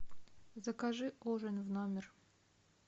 закажи ужин в номер